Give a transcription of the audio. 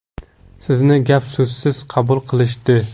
Sizni gap-so‘zsiz qabul qilishdi.